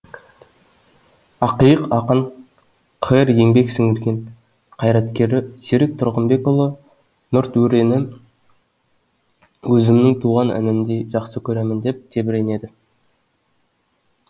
ақиық ақын қр еңбек сіңірген қайраткері серік тұрғынбекұлы нұртөрені өзімнің туған інімдей жақсы көремін деп тебіренеді